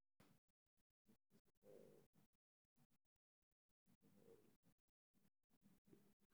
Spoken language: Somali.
Si kastaba ha ahaatee, aqoontayada, ururkan lama caddayn.